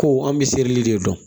Ko an bɛ selili de dɔn